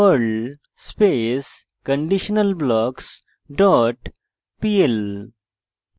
perl space conditionalblocks dot pl